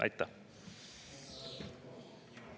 Aitäh!